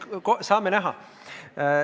Eks saame näha.